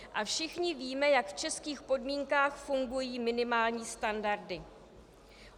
A všichni víme, jak v českých podmínkách fungují minimální standardy.